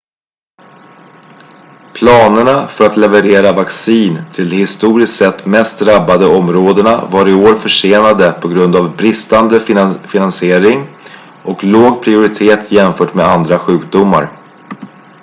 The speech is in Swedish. planerna för att leverera vaccin till de historiskt sett mest drabbade områdena var i år försenade på grund av bristande finansiering och låg prioritet jämfört med andra sjukdomar